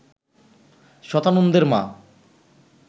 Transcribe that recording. শতানন্দের মা